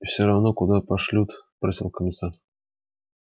и всё равно куда пошлют спросил комиссар